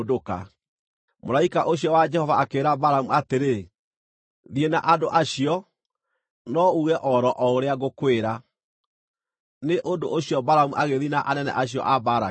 Mũraika ũcio wa Jehova akĩĩra Balamu atĩrĩ, “Thiĩ na andũ acio, no uuge o ro ũrĩa ngũkwĩra.” Nĩ ũndũ ũcio Balamu agĩthiĩ na anene acio a Balaki.